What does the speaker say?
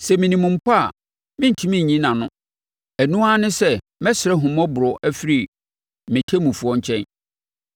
Sɛ menim mpo a, merentumi nyi nʼano; ɛno ara ne sɛ mɛsrɛ ahummɔborɔ afiri me ɔtemmufoɔ nkyɛn.